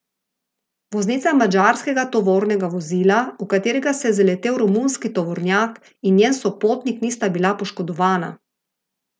Voznica madžarskega tovornega vozila, v katerega se je zaletel romunski tovornjak, in njen sopotnik nista bila poškodovana.